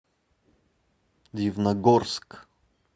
дивногорск